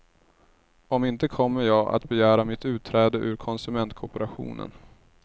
Om inte kommer jag att begära mitt utträde ur konsumentkooperationen.